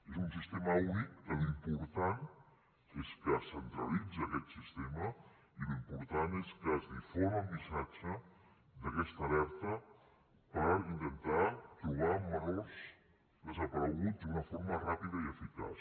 és un sistema únic que l’important és que centralitza aquest sistema i l’important és que es difon el missatge d’aquesta alerta per intentar trobar menors desapareguts d’una forma ràpida i eficaç